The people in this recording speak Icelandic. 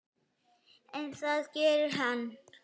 En það gerði hann.